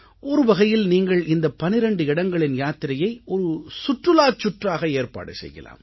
ஒருவகையில் நீங்கள் இந்த 12 இடங்களின் யாத்திரையை ஒரு சுற்றுலாச் சுற்றாக ஏற்பாடு செய்யலாம்